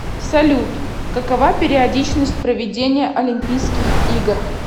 салют какова периодичность проведения олимпийских игр